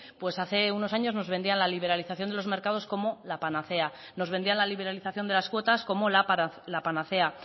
pues hace unos años nos vendían la liberalización de los mercados como la panacea nos vendían la liberalización de las cuotas como la panacea